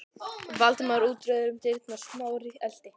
Valdimar ótrauður út um dyrnar, Smári elti.